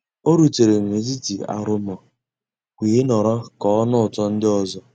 ọ́ rùtérè n'étítì àrụ́móóá weé nọ̀rọ́ ká ọ́ nụ́ ụtọ́ ndị́ ọ́zọ́.